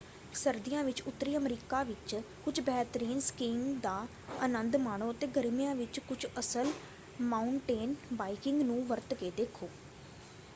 ਸਰਦੀਆਂ ਵਿੱਚ ਉੱਤਰੀ ਅਮਰੀਕਾ ਵਿੱਚ ਕੁਝ ਬਿਹਤਰੀਨ ਸਕੀਇੰਗ ਦਾ ਅਨੰਦ ਮਾਣੋ ਅਤੇ ਗਰਮੀਆਂ ਵਿੱਚ ਕੁਝ ਅਸਲ ਮਾਊਨਟੇਨ ਬਾਈਕਿੰਗ ਨੂੰ ਵਰਤ ਕੇ ਦੇਖੋ।